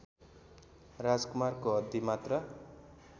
राजकुमारको हड्डीमात्र